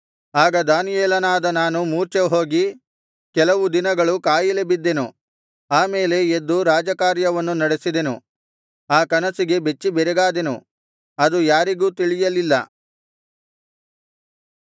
ಆಗ ದಾನಿಯೇಲನಾದ ನಾನು ಮೂರ್ಛೆಹೋಗಿ ಕೆಲವು ದಿನಗಳು ಕಾಯಿಲೆ ಬಿದ್ದೆನು ಆ ಮೇಲೆ ಎದ್ದು ರಾಜಕಾರ್ಯವನ್ನು ನಡೆಸಿದೆನು ಆ ಕನಸಿಗೆ ಬೆಚ್ಚಿಬೆರಗಾದೆನು ಅದು ಯಾರಿಗೂ ತಿಳಿಯಲಿಲ್ಲ